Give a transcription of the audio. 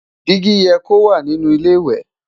digi yẹ kó wà nínú ilé ìwé